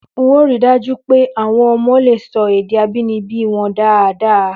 N óò ri dáj́ú pé àwo̩n o̩mo̩ lè so̩ èdè abínibí wo̩n dáadáa